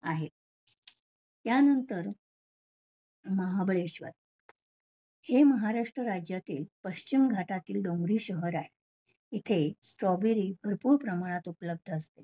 आहेत. त्यानंतर महाबळॆश्वर हे महाराष्ट्र राज्यातील पश्चिम भागातील डोंगरी शहर आहे, इथे strawbery भरपूर प्रमाणात उपलब्द्ध असते.